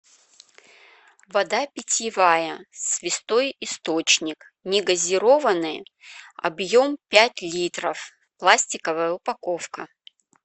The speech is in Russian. вода питьевая святой источник не газированная объем пять литров пластиковая упаковка